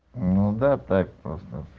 ну да так просто